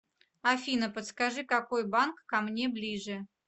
афина подскажи какой банк ко мне ближе